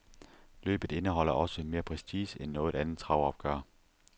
Løbet indeholder også mere prestige end noget andet travopgør.